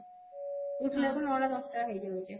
ଉଠିଲା କୁ ନଅ ଟା ଦଶ ଟା ହେଇଯାଉଛି